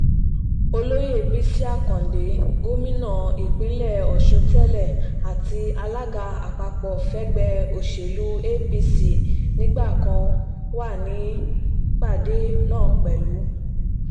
olóyè bisi akande gómìnà ìpínlẹ̀ ọ̀ṣun tẹ́lẹ̀ àti alága àpapọ̀ fẹgbẹ́ òsèlú apc nígbà kan wà nípàdé náà pẹ̀lú